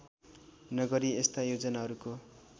नगरी यस्ता योजनाहरूको